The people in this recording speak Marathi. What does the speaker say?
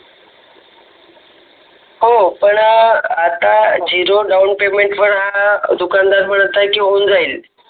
हो पण आता झिरो डाउन पेमेंट वर दुकानदार म्हणत आहे की होऊन जाईल